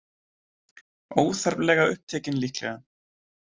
Óþarflega upptekin, líklega.